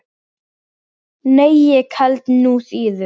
Nei, ég held nú síður.